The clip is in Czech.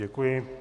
Děkuji.